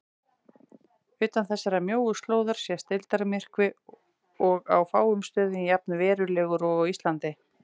Utan þessarar mjóu slóðar sést deildarmyrkvi og á fáum stöðum jafn verulegur og á Íslandi.